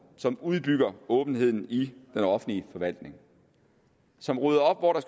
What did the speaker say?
som udbygger åbenheden i den offentlige forvaltning som rydder op hvor der